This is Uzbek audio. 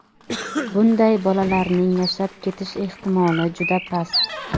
Bunday bolalarning yashab ketish ehtimoli juda past.